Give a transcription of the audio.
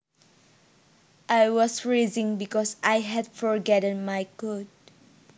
I was freezing because I had forgotten my coat